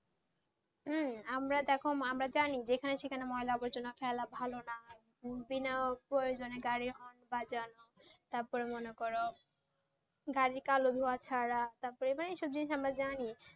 হম আমরা দেখ আমরা জানি যেখানে সেখানে আবর্জনা ফেলা ভালো না বিনা প্রয়োজনে গাড়ির হর্ন বাজানো, তারপর মনে করো গাড়ির কালো ধোঁয়া ছাড়া, তারপর আমরা এসব জিনিস জানি,